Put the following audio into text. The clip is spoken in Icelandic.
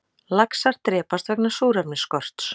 Laxar drepast vegna súrefnisskorts